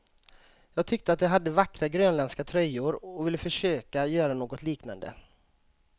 Jag tyckte att de hade vackra grönländska tröjor och ville försöka göra något liknande.